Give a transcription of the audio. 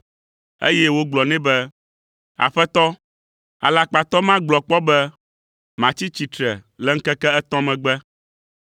eye wogblɔ nɛ be, “Aƒetɔ, alakpatɔ ma gblɔ kpɔ be, ‘Matsi tsitre le ŋkeke etɔ̃ megbe,’